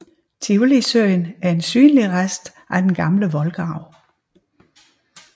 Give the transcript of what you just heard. Tivolisøen er en synlig rest af den gamle voldgrav